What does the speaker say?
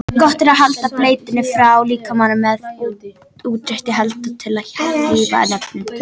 Gott er að halda bleiunni frá líkamanum með útréttri hendi til að hlífa nefinu.